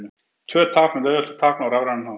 Tvö tákn er auðvelt að tákna á rafrænan hátt.